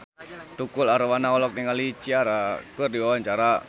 Tukul Arwana olohok ningali Ciara keur diwawancara